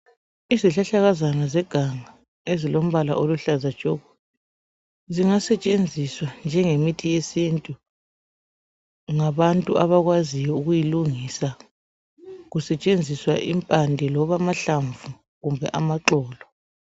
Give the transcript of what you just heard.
Izihlahlakazana zeganga ezilombala oluhlaza tshoko zingasetshenziswa njengemithi yesintu ngabantu abakwaziyo ukuyilungisa kusetshenziswa impande loba amahlamvu loba amaxolo